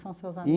São seus amigos?